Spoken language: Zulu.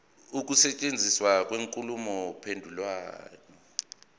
ukusetshenziswa kwenkulumo mpendulwano